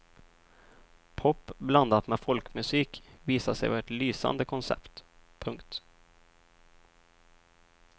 Pop blandat med folkmusik visade sig vara ett lysande koncept. punkt